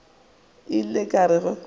ile ka re ge ke